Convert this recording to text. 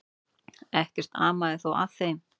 Ekkert amaði þó að þeim.